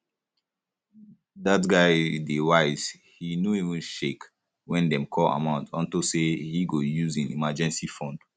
dat guy dey wise he no even shake wen dey call amount unto say he go use im emergency fund